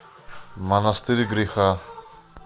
монастырь греха